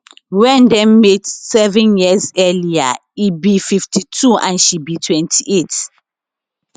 wen dem meet seven years earlier e e be 52 and she be 28